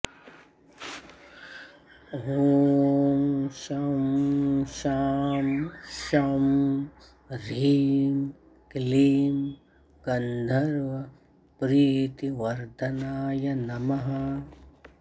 ॐ शं शां षं ह्रीं क्लीं गन्धर्वप्रीतिवर्धनाय नमः